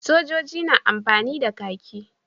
Sojoji na amfani da kahki.